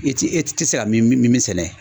I ti e tɛ se ka min min sɛnɛ.